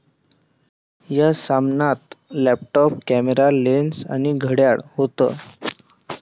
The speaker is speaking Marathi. या सामानात लॅपटॉप, कॅमेरा, लेन्स आणि घड्याळ होतं.